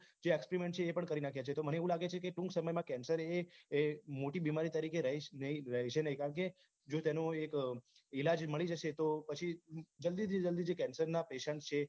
જે experiment છે એ પણ કરી નાખ્યા છે મને એવું લગે છે ટૂંક સમય માં cancer એ મોટી બીમારી રહીશ નહી રહેશે નહી કારણ કે જો તેનો એક ઈલાજ મળી જશે તો પછી જલ્દીથી જલ્દી જે cancer ના patient છે